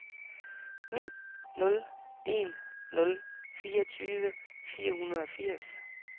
ni nul en nul fireogtyve fire hundrede og firs